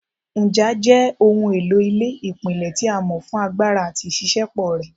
Nja jẹ ohun elo ile ipilẹ ti a mọ fun agbara ati iṣiṣẹpọ rẹ